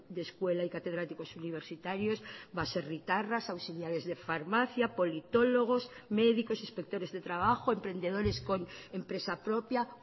de escuela y catedráticos universitarios baserritarras auxiliares de farmacia politólogos médicos inspectores de trabajo emprendedores con empresa propia